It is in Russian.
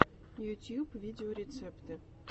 ютюб видеорецепты